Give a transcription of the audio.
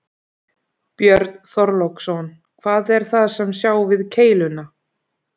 Björn Þorláksson: Hvað er það sem sjá við keiluna?